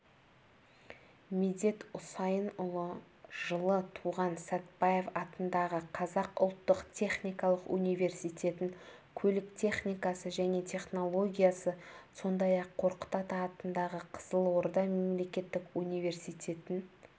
медет усаинұлы жылы туған сәтбаев атындағы қазақ ұлттық техникалық университетін көлік техникасы және технологиясы сондай-ақ қорқыт ата атындағы қызылорда мемлекеттік университетін